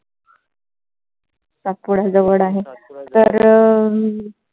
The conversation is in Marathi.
सातपुडा जवळ आहे. तर अं